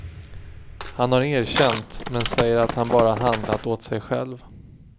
Han har erkänt, men säger att han bara handlat åt sig själv.